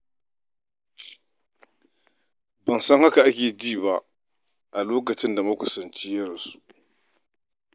Ban san haka ake ji ba a lokacin da wani makusanci ya rasu.